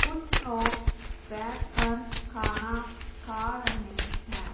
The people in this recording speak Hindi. कुछ लोग बैठ कर खाना खा रहे हैं।